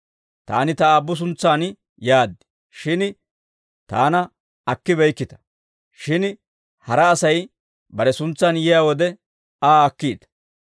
Taani ta Aabbu suntsan yaad; shin taana akkibeykkita. Shin hara Asay bare suntsan yiyaa wode, Aa akkiita.